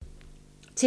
TV 2